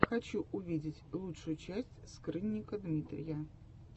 хочу увидеть лучшую часть скрынника дмитрия